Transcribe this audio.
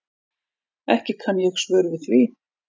Ekki kann ég svör við því.